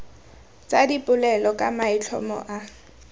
tsa dipolelo ka maitlhomo a